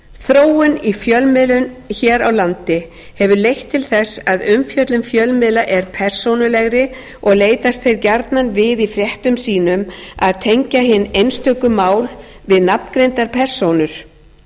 þróun í fjölmiðlun hér landi hefur leitt til þess að umfjöllun fjölmiðla er persónulegri og leitast þeir gjarnan við í fréttum sínum að tengja hin einstöku mál við nafngreindar persónur